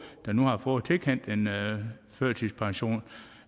som nu har fået tilkendt en førtidspension